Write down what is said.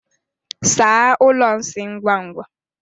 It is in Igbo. Saa ụlọ nsị ngwa ngwa!